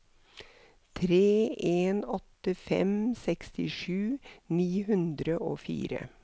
tre en åtte fem sekstisju ni hundre og fire